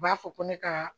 U b'a fɔ ko ne ka